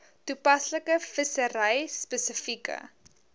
toepaslike vissery spesifieke